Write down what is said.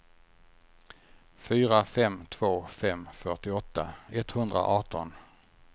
fyra fem två fem fyrtioåtta etthundraarton